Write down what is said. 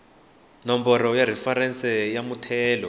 nomboro ya referense ya muthelo